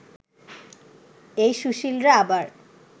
এই সুশীলরা আবার